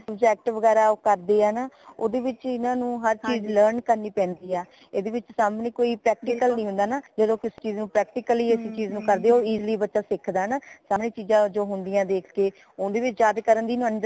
subject ਵਗੈਰਾ ਕਰਦੇ ਹੈ ਨਾ ਓਦੇ ਵਿਚ ਇਨਾ ਨੂ ਹਰ ਚੀਜ਼ learn ਕਰਨੀ ਪੈਂਦੀ ਹਾ ਇਦੇ ਵਿਚ ਸਾਮਣੇ ਕੋਈ practical ਨੀ ਹੁੰਦਾ ਨਾ ਜਦੋ ਕਿਸੀ ਚੀਜ਼ ਨੂ practically ਉਸ ਚੀਜ਼ ਨੂ ਕਰਦੇ ਹੋ easily ਬੱਚਾ ਸਿਖਦਾ ਹੈ ਨਾ ਤਾਹੀ ਚੀਜ਼ਾਂ ਜੋ ਹੁੰਦੀਆਂ ਦੇਖ ਕੇ ਉਦੇ ਵਿੱਚ ਜਾਕੇ ਕਰਨ ਦੀ